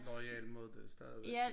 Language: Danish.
Loyal mod det stadigvæk